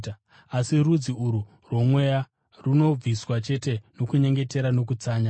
Asi rudzi urwu rwomweya runongobviswa chete nokunyengetera nokutsanya.”